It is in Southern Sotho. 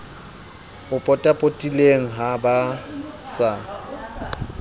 o potapotileng ha ba sa